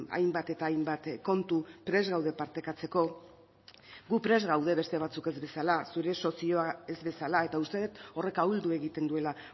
hainbat eta hainbat kontu prest gaude partekatzeko gu prest gaude beste batzuk ez bezala zure sozioa ez bezala eta uste dut horrek ahuldu egiten duela